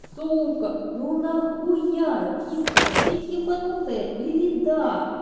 сумка ну нахуя вискас ты ебанутая или да